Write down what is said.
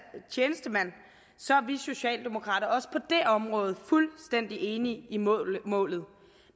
tjenestemand så er vi socialdemokrater også på det område fuldstændig enige i målet målet